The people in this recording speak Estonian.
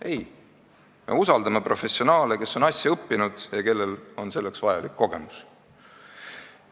Ei, me usaldame professionaale, kes on asja õppinud ja kellel on vajalikud kogemused.